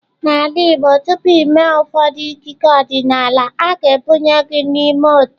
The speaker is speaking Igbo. N'ala Igbo tupu i mee ụfọdụ ikike ọdịnala, a ga-ebunye gị n'ime otu.